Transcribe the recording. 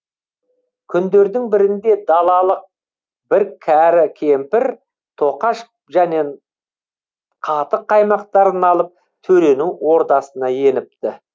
күндердің бірінде далалық бір кәрі кемпір тоқаш және қатық қаймақтарын алып төренің ордасына еніпті